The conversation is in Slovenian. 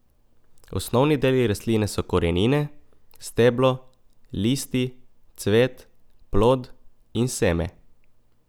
Osnovni deli rastline so korenine, steblo, listi, cvet, plod in seme.